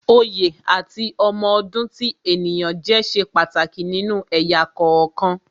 Oyè àti ọmọ ọdún tí ènìyàn jẹ́ ṣe pàtàkì nínú ẹ̀yà kọ̀ọ̀kan